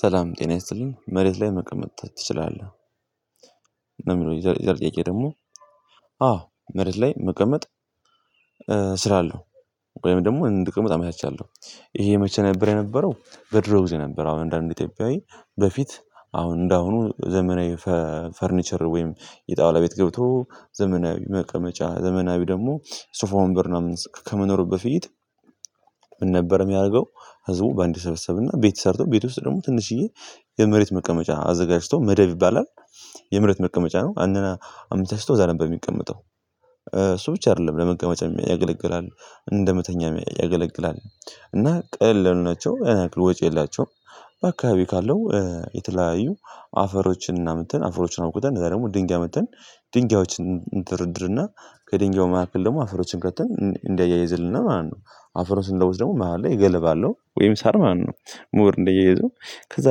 ሰላም ጤና ይስጥልኝ መሬት ላይ መቅመጥ ትችላለህ ነው የሚለው የዚያ ጥያቄ ደግሞ አዎ መሬት ላይ መቀመጥ። እችላለው ወይም ደግሞ እንድቀምጥ አመቻቻለሁ ይሄ የመቼ ነበር የነበረው? በድሮ ጊዜ የነበረው አሁን አንዳንድ ኢትዮጵያዊ በፊት አሁን እንደአሁኑ ዘመናዊ ፈርኒቸር ወይም የጣውላ ቤት ገብቶ ዘመናዊ መቀመጫ ዘመናዊ ደግሞ ሱፋ ወንበር ምናምን ከመኖሩ በፊት ምን ነበር የሚያደርገው? ህዝቡ በአንድ ይሰበሰብና ቤት ሰርቶ ቤት ውስጥ ደግሞ ትንሽዬ የመሬት መቀመጫ አዘጋጅቶ መደብ ይባላል የመሬት መቀመጫ ነው። አመቻችቶ እዚያ ነበር የሚቀመጠው እሱ ብቻ አይደለም ለመቀመጫ ያገለግላል እንደመተኛ ያገለግላል እና ቀለል ያሉ ናቸው ብዙወጪ የላቸውም። በአካባቢ ካለው የተለያዩ አፈሮችን እና ምትን አፈሮችን አውቁት እንደዛ ደግሞ ድንጋይ መጥተን ድንጋዮችን ድርድርና ከድንጋዩ መሃል ደግሞ አፈሮችን ከትን እንዳያይዝልን ማለት ነው። አፈሮችን ለውስጥ ደግሞ መሃል ላይ ገለባ አለው ወይም ሳር ማነው? ሞር እንደየዙ ከዛ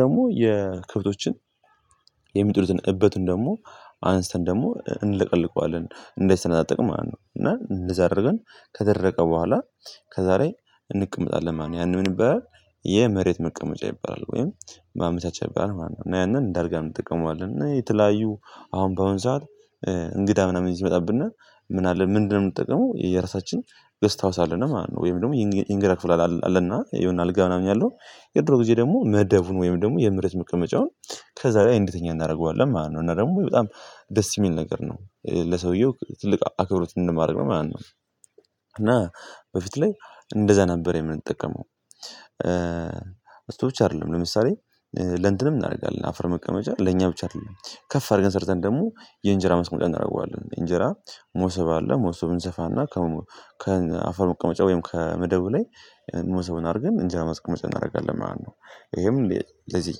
ደግሞ የክብቶችን የሚጥሉትን እበቱን ደግሞ አንስተን ደግሞ እንለቀልቀዋለን እንዳይሰነጣቃቀቅ ማለት ነው። እና እንደዛ አደረገን ከደረቀ በኋላ ከዛ ላይ እንቀመጣለን ማለት ነው። ያህ ምን ይባላልየመሬት መቀመጫ ይባላል ወይም በአመታች አቻ በጣም ዋና ነው። ያንን እንደ አድርገህ እንጠቀመዋለን እና የተለያዩ አሁን በአሁን ሰዓት እንግዳ ምናምን ይመጣብና ምን አለ ምንድነው የምትጠቀመው የየራሳችን ሳለ ነው ማለት ነው። ወይም ደግሞ የእንግዳ ክፍል አለና የሆነ አልጋ ምናምን ያለው የድሮ ጊዜ ደግሞ መደቡን ወይም ደግሞ የምህረት መቀመጫውን ከዛ በላይ እንድትኛ እናደርገዋለን ማለት ነው። እና ደግሞ በጣም ደስ የሚል ነገር ነው ለሰውየው ትልቅ አክብሮት እንደማድረግ ነው ማለት ነው። እና በፊት ላይ እንደዛ ነበር የምንጠቀመው። አስቶች አይደለም ለምሳሌ ለንትንም እናደርጋለን አፈር መቀመጫ ለኛ ብቻ አይደለም ከፍ አድርገን ሰርተን ደግሞ የእንጀራ መስመር እናደርገዋለን እንጀራ ሞሰብ አለ ሞሰብን ዘፋና ከአፈር መቀመጫ ወይም ከመደቡ ላይ እነሱን አድርገን እንጀራ ማስቀመጫ እናደርጋለን ማለት ነው። ይሄም ለዚህ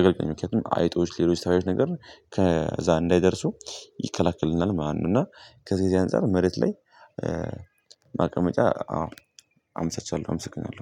አገልግሎት ምክንያቱም አይጦች ታዮች ነገር ከዛ እንዳይደርሱ ይከለክልናል ማለት ነው። እና ከዚህ እዚህ አንፃር መሬት ላይ እጫ አዎ አምስቻለሁ። አምስቻለሁ